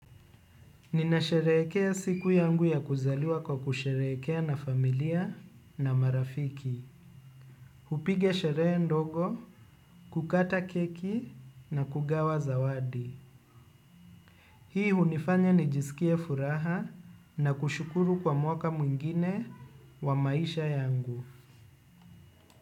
Ninasherehekea siku yangu ya kuzaliwa kwa kusherekea na familia na marafiki. Hupiga sherehe ndogo, kukata keki na kugawa zawadi. Hii hunifanya nijisikie furaha na kushukuru kwa mwaka mwingine wa maisha yangu.